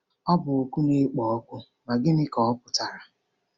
Ọ bụ oku na-ekpo ọkụ, ma gịnị ka ọ pụtara?